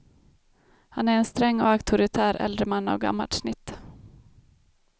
Han är en sträng och auktoritär äldre man av gammalt snitt.